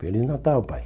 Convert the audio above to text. Feliz Natal, Pai.